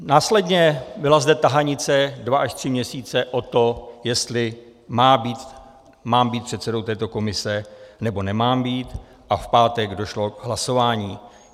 Následně zde byla tahanice dva až tři měsíce o to, jestli mám být předsedou této komise, nebo nemám být, a v pátek došlo k hlasování.